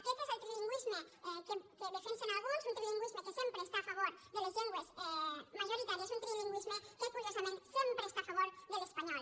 aquest és el trilingüisme que defensen alguns un trilingüisme que sempre està a favor de les llengües majoritàries un trilingüisme que curiosament sem·pre està a favor de l’espanyol